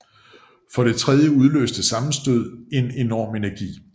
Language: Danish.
For det tredje udløste sammenstødet en enorm energi